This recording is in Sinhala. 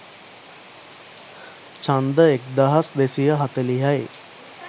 ඡන්ද එක්දහස් දෙසිය හතලිහයි.